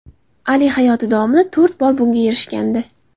Ali hayoti davomida to‘rt bor bunga erishgandi.